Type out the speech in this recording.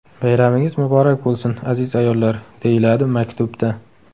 Bayramingiz muborak bo‘lsin aziz ayollar”, − deyiladi maktubda.